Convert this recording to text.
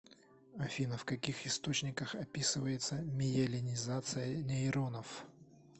афина в каких источниках описывается миелинизация нейронов